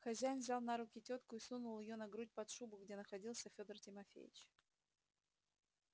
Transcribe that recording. хозяин взял на руки тётку и сунул её на грудь под шубу где находился федор тимофеич